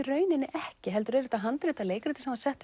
rauninni ekki heldur er þetta handrit að leikriti sem var sett